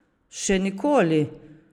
Še nikoli?